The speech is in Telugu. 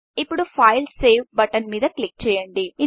ఇప్పుడు Saveసేవ్ బటన్ మీద క్లిక్ చేయండి